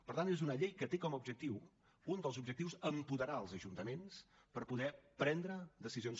per tant és una llei que té com a objectiu un dels objectius apoderar els ajuntaments per poder prendre decisions